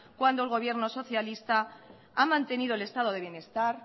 cuando el gobierno socialista ha mantenido el estado de bienestar